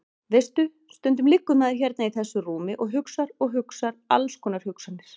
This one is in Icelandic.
Veistu. stundum liggur maður hérna í þessu rúmi og hugsar og hugsar alls konar hugsanir.